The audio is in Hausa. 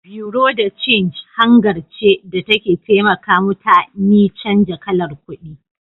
"Buerea de change " hangar ce da take taimaka muta ni canza kalar kudi